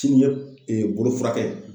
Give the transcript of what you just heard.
Sini ye bolofurakɛ ye.